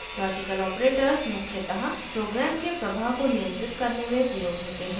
* logical operators मुख्यतः program के प्रवाह को नियंत्रित करने में प्रयोग होते हैं